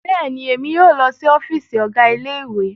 Bẹẹni, Emi yoo lọ si ọfiisi Ọgá Ilé-ìwé